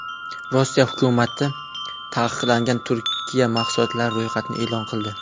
Rossiya hukumati taqiqlangan Turkiya mahsulotlari ro‘yxatini e’lon qildi.